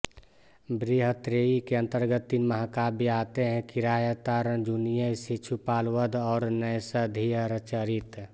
बृहत्त्रयी के अंतर्गत तीन महाकाव्य आते हैं किरातार्जुनीय शिशुपालवध और नैषधीयचरित